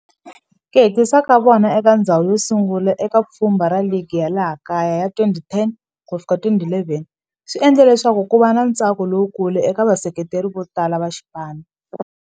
Ku hetisa ka vona eka ndzhawu yosungula eka pfhumba ra ligi ya laha kaya ya 2010 ku ya fika 2011 swi endle leswaku kuva na ntsako lowukulu eka vaseketeri votala va xipano.